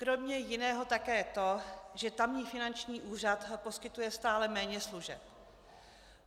Kromě jiného také to, že tamní finanční úřad poskytuje stále méně služeb.